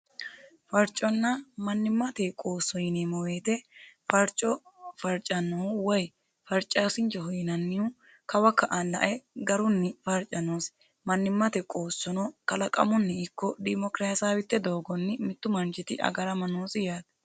farconna mannimmate qoosso yineemmoweete farco farcannohu way farcaasinchiho yinannihu kawa ka"e lae garunni farcanoosi mannimmate qoossono kalaqamunni ikko diimokirasaawitte doogonni mittu manchiti agarama noosi yaate